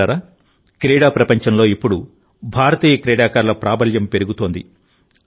మిత్రులారాక్రీడా ప్రపంచంలో ఇప్పుడు భారతీయ క్రీడాకారుల ప్రాబల్యం పెరుగుతోంది